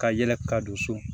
Ka yɛlɛ ka don so